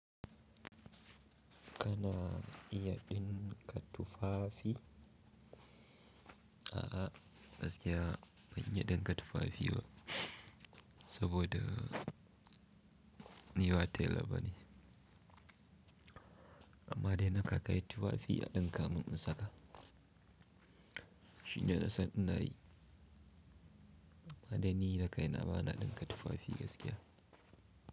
Kana iya ɗinka tufafi? A'a, gaskiya ban iya ɗinka tufafi ba, saboda ni wa tela bane. Amma dai na ka kai tufafi a ɗinka min, in saka. Shine nasan inayi. Amma dai ni da kaina ba na ɗinka tufafi gaskiya.